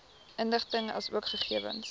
inligting asook gegewens